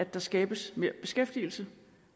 at der skabes mere beskæftigelse